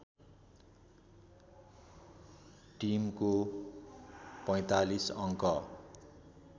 टिमको ४५ अङ्क